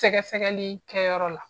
Sɛgɛ sɛgɛli kɛyɔrɔ la.